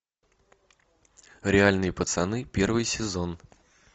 реальные пацаны первый сезон